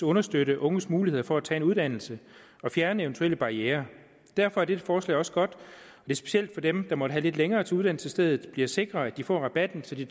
understøtte unges muligheder for at tage en uddannelse og at fjerne eventuelle barrierer derfor er dette forslag også godt og specielt for dem der måtte have lidt længere til uddannelsesstedet bliver det sikret at de får rabatten så de